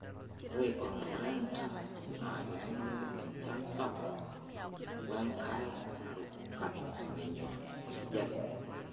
Ore ormureenda naa kening'ore enchan sapuk ,wenkare naruko kake menyor enkijiape.